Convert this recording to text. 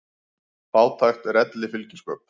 Fátækt er elli fylgispök.